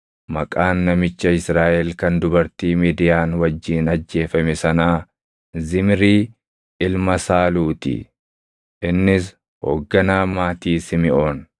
Maqaan namicha Israaʼel kan dubartii Midiyaan wajjin ajjeefame sanaa Zimrii ilma Saaluu ti; innis hoogganaa maatii Simiʼoon.